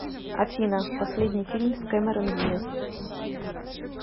афина последний фильм с кэмерон диаз